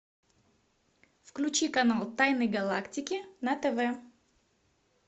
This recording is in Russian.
включи канал тайны галактики на тв